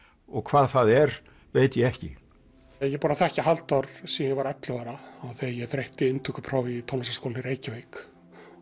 og hvað það er veit ég ekki ég er búinn að þekkja Halldór síðan ég var ellefu ára þegar ég þreytti inntökupróf í Tónlistarskólann í Reykjavík